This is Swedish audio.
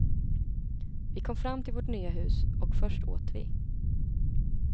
Vi kom fram till vårt nya hus och först åt vi.